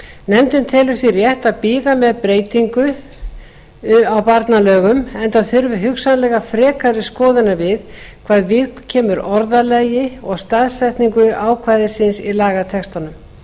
nefndin telur því rétt að bíða með breytingu á barnalögum enda þurfi hugsanlega frekari skoðunar við hvað viðkemur orðalagi og staðsetningu ákvæðisins í lagatextanum